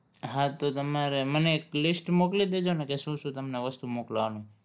હા તો તમારે મને એક list મોકલી દેજો ને કે શું શું તમને વસ્તુ મોકલાવાનું